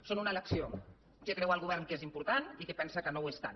són una elecció què creu el govern que és important i què pensa que no ho és tant